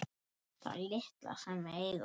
Það litla sem við eigum.